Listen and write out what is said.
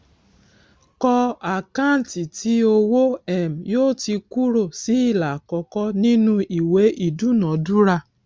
kọ àkáǹtì tí owó um yóò ti kúrò sí ìlà àkọkọ ìnú ìwé idúnadúrà